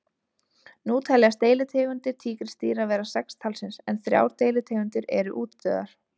Nú teljast deilitegundir tígrisdýra vera sex talsins en þrjár deilitegundir eru útdauðar.